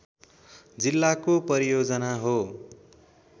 जिल्लाको परियोजना हो